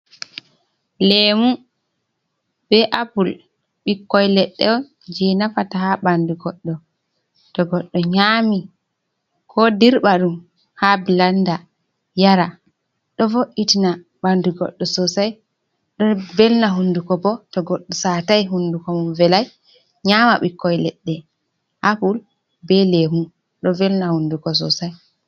Leemu be apul, ɓikkoi leɗɗe on jei nafata ha ɓandu goɗɗo. To goɗɗo nyami, ko dirba ɗum ha blanda, yara. Ɗo vo'itina bandu goɗɗo sosai, ɗo velna hunduko bo to goɗɗo saatai, hunduko mum velai, nyama ɓikkoi leɗɗe. Apul be leemu ɗo velna hunduko sosai.